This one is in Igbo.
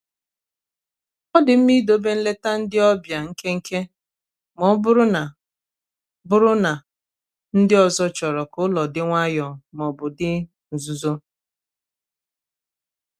ọ dị mma idobe nleta ndị ọbịa nkenke ma ọ bụrụ na bụrụ na ndị ọzọ chọrọ ka ulo di nwayo ma ọ bụ nzuzo.